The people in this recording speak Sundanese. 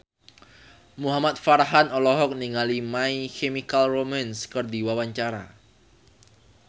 Muhamad Farhan olohok ningali My Chemical Romance keur diwawancara